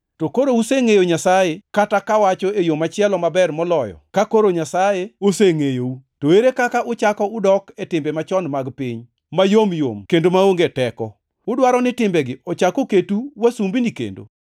To ka koro usengʼeyo Nyasaye, kata kawacho e yo machielo maber moloyo ka koro Nyasaye osengʼeyou, to ere kaka uchako udok e timbe machon mag piny, mayom yom kendo maonge teko? Udwaro ni timbegi ochak oketu wasumbini kendo?